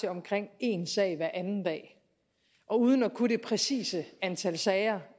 til omkring en sag hver anden dag og uden at kunne det præcise antal sager